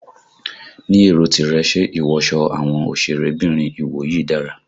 Ní èrò tìrẹ, ṣe ìwọsọ àwọn òsèré bìnrin ìwòyí dára?